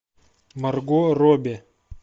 марго робби